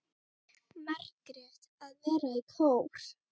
Margrét: Að vera í kór.